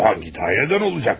Hansı idarədən olacaq?